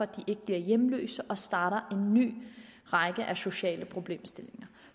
de ikke bliver hjemløse og starter en ny række af sociale problemstillinger